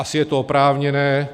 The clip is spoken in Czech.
Asi je to oprávněné.